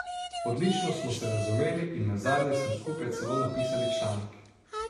Odlično smo se razumeli in nazadnje smo skupaj celo napisali članek.